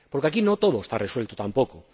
Porque aquí no todo está resuelto tampoco.